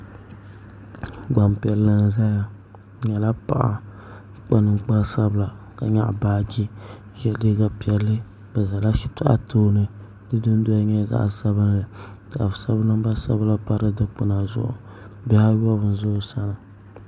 Gbanpiɛli n ʒɛya ŋɔ o nyɛla paɣa ka kpa ninkpari sabila ka nyaɣa baaji ka yɛ liiga piɛlli bi ʒɛla shitɔɣu tooni di dundoli nyɛla zaɣ sabinli ka bi sabi namba sabinli pa di dikpuna zuɣu bihi ayobu n ʒɛ o sani